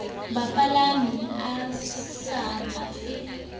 bapalami a sa ba fe